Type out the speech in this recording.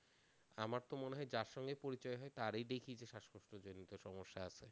আমারতো মনে হয় যার সঙ্গেই পরিচয় হয় তারই দেখি যে শ্বাসকষ্ট জনিত সমস্যা আছে,